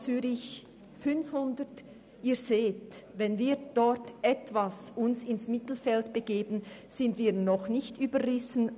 Sie sehen: Wenn wir uns dort ein wenig ins Mittelfeld begeben, sind wir noch nicht überrissen.